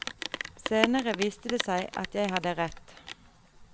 Senere viste det seg at jeg hadde rett.